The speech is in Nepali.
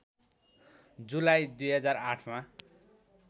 जुलाई २००८ मा